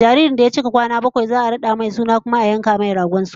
Jaririn da ya cika kwana bakwai za'a rada masa suna kuma a yanka masa dragon suna